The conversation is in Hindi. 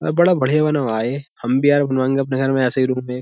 बड़ा बढ़िया बनवाए हम भी यार बनवाएंगे अपने घर में ऐसे ही रूम है।